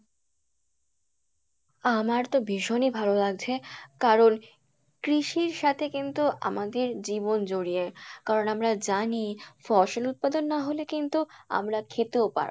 আমার তো ভীষণই ভালো লাগছে কারন কৃষির সাথে কিন্তু আমাদের জীবন জরিয়ে কারন আমরা জানি ফসল উৎপাদন না হলে কিন্তু আমরা খেতেও পারবো